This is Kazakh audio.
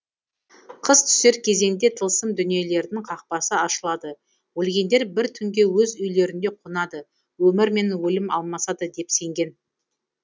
қыс түсер кезеңде тылсым дүниелердің қақпасы ашылады өлгендер бір түнге өз үйлерінде қонады өмір мен өлім алмасады деп сенген